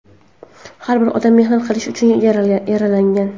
Har bir odam mehnat qilish uchun yaralgan.